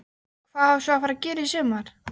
Hvað á svo að fara að gera í sumar?